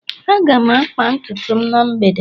aga m akpa ntutu m na mgbede